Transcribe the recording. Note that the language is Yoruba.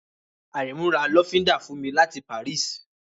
Àrẹ̀mú ra lọ́fíndà fún mi láti Paris